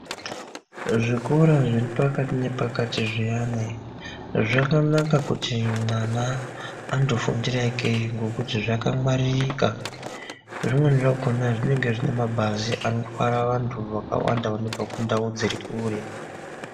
Zvikora zviri pakati ne pakati zviyani zvakanaka kuti mwana ando fundira ke ngekuti zvaka ngwaririka zvimweni zvakona zvinenge zvine mabhazi anotwara vantu vakawanda vanobva ku ndau dziri kure.